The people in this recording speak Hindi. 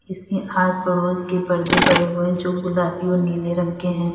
इसके आस पड़ोस के पर्दे पड़े हुए हैं जो गुलाबी और नीले रंग के हैं।